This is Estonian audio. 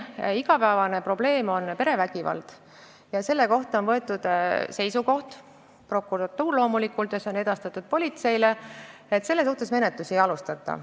Igapäevane probleem on perevägivald, mille kohta on prokuratuur võtnud seisukoha, mis on omakorda edastatud politseile, et selle suhtes menetlusi ei alustata.